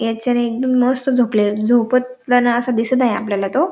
याच्या एकदम मस्त झोपलेल झोपताना अस दिसत आहे आपल्याला तो.